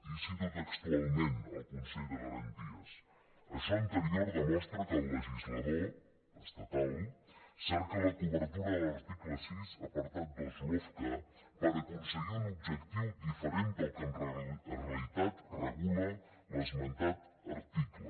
i cito textualment el consell de garanties això anterior demostra que el legislador estatal cerca la cobertura de l’article sis apartat dos lofca per aconseguir un objectiu diferent del que en realitat regula l’esmentat article